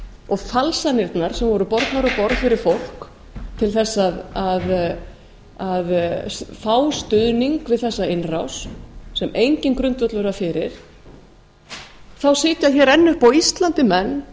og falsanirnar sem voru bornar á borð fyrir fólk til að fá stuðning við þessa innrás sem enginn grundvöllur var fyrir þá sitja hér enn uppi á íslandi menn